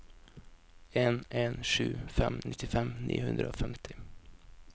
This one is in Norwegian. en en sju fem nittifem ni hundre og femti